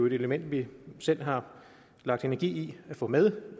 et element vi selv har lagt energi i at få med